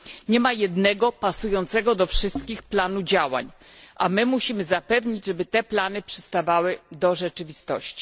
Nie ma jednego pasującego do wszystkich planu działań, a my musimy zapewnić, żeby te plany przystawały do rzeczywistości.